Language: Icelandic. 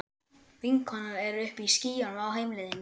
Vinkonan er uppi í skýjunum á heimleiðinni.